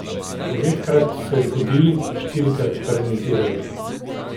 Devetkrat so izgubili, štirikrat pa remizirali.